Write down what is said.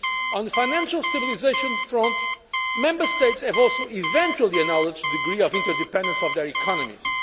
On the financial stabilisation front, Member States have eventually acknowledged the degree of interdependence of their economies.